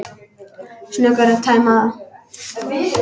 Snöggur að tæma það.